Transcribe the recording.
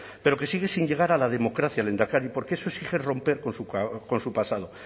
pero que sigue sin llegar a la democracia lehendakari porque eso exige romper con su pasado